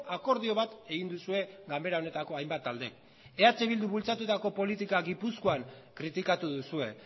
akordio bat egin duzue ganbera honetako hainbat talde eh bilduk bultzatutako politika gipuzkoan kritikatu duzue